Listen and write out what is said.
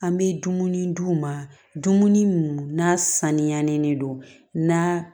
An bɛ dumuni d'u ma dumuni minnu n'a saniyalen de don na